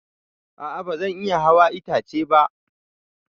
A'a ba zan iya hawa itace ba.